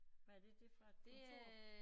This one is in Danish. Hvad er det det fra et kontor